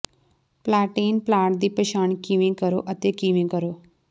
ਪਲਾਟੇਨ plant ਦੀ ਪਛਾਣ ਕਿਵੇਂ ਕਰੋ ਅਤੇ ਕਿਵੇਂ ਕਰੋ